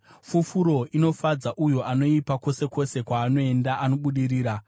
Fufuro inofadza uyo anoipa; kwose kwose kwaanoenda, anobudirira.